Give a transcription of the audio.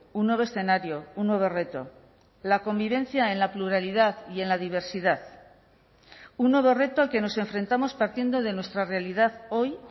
un nuevo escenario un nuevo reto la convivencia en la pluralidad y en la diversidad un nuevo reto al que nos enfrentamos partiendo de nuestra realidad hoy